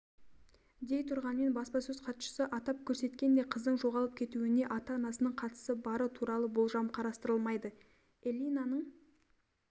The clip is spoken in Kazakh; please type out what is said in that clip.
дей тұрғанмен баспасөз хатшысы атап көрсеткендей қыздың жоғалып кетуіне ата-анасының қатысы бары туралы болжам қарастырылмайды эллинаның